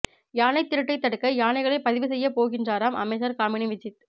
யானை திருட்டை தடுக்க யானைகளை பதிவு செய்ய போகின்றாராம் அமைச்சர் காமினி விஜித்